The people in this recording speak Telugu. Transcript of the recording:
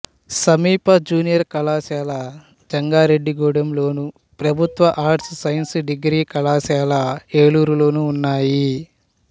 సమీప జూనియర్ కళాశాల జంగారెడ్డిగూడెంలోను ప్రభుత్వ ఆర్ట్స్ సైన్స్ డిగ్రీ కళాశాల ఏలూరులోనూ ఉన్నాయి